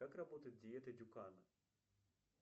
как работает диета дюкана